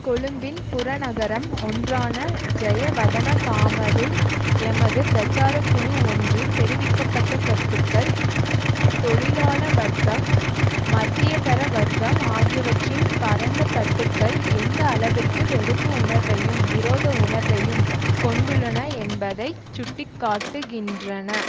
கொழும்பின் புறநகரம் ஒன்றான ஜயவதனகாமவில் எமது பிரச்சார குழு ஒன்றின் தெரிவிக்க பட்ட கருத்துக்கள் தொழிலாள வர்ககம் மத்தியதர வர்க்கம் ஆகியவற்றின் பரந்த தட்டுக்கள் எந்த அளவிற்கு வெறுப்பு உணர்வையும் விரோத உணர்வையும் கொண்டுள்ளன என்பதை சுட்டி காட்டுகின்றன